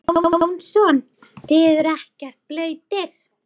Viggó Jónsson: Þið eruð ekkert blautir?